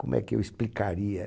Como é que eu explicaria?